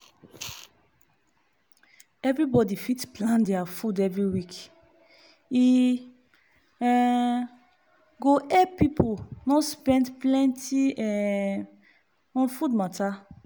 everybody fit plan deir food every week e um go help pipu no spend plenty um on food matter.